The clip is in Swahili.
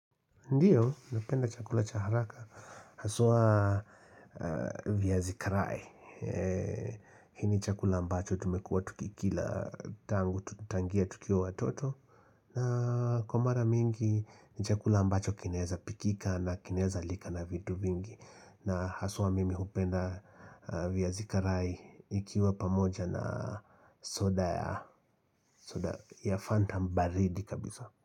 Ndiyo, napenda chakula cha haraka, haswa vyazi karai hii ni chakula ambacho tumekua tuki kila tangu, tukiwa watoto na kwa mara mingi, ni chakula ambacho kinaeza pikika na kinaeza lika na vitu vingi na haswa mimi hupenda vyazi karai ikiwa pamoja na soda ya soda ya fanta baridi kabisa.